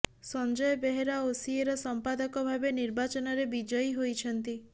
ସଞ୍ଜୟ ବେହେରା ଓସିଏର ସମ୍ପାଦକ ଭାବେ ନିର୍ବାଚନରେ ବିଜୟୀ ହୋଇଛନ୍ତି